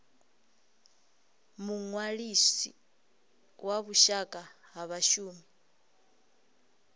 muṅwalisi wa vhushaka ha vhashumi